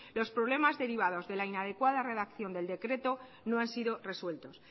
los problemas derivados de la inadecuada redacción del decreto no han sido resueltos